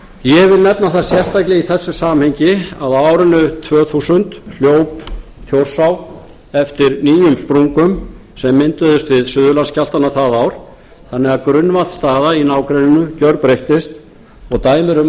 ég vil nefna það sérstaklega í þessu samhengi að á árinu tvö þúsund hljóp þjórsá eftir nýjum sprungum sem mynduðust við suðurlandsskjálftana það ár þannig að grunnvatnsstaða í nágrenninu gjörbreyttist og dæmi eru um